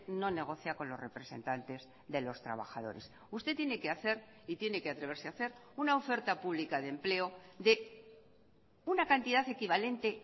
no negocia con los representantes de los trabajadores usted tiene que hacer y tiene que atreverse a hacer una oferta pública de empleo de una cantidad equivalente